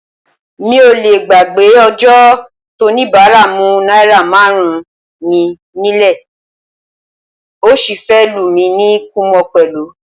Mi ò lé gbàgbé ọjọ́ tóníbàárà mú náírà márùn-ún mi nílẹ̀, ó sì fẹ́ lù mí ní kúmọ̀ pẹ̀lú.